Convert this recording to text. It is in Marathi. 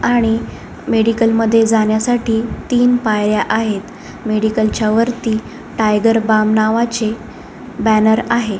आणि मेडीकल मध्ये जाण्या साठी तीन पायऱ्या आहेत मेडीकल च्या वरती टायगर बाम नावाचे बॅनर आहे.